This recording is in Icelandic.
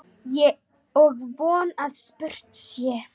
Og von að spurt sé.